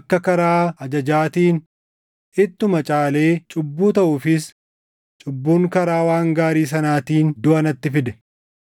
akka karaa ajajaatiin ittuma caalee cubbuu taʼuufis cubbuun karaa waan gaarii sanaatiin duʼa natti fide.